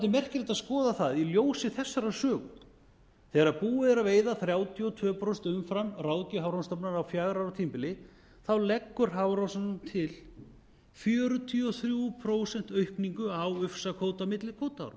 að skoða það í ljósi þessarar sögu þegar búið er að veiða þrjátíu og tvö prósent umfram ráðgjöf hafrannsóknastofnunar á fjögra ára tímabili leggur hafrannsóknastofnun til fjörutíu og þrjú prósent aukningu á ufsakvóta